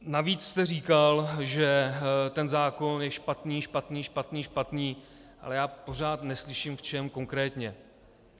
Navíc jste říkal, že ten zákon je špatný, špatný, špatný, špatný, ale já pořád neslyším, v čem konkrétně.